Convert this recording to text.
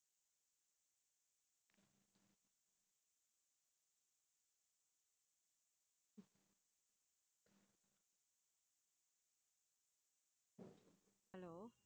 hello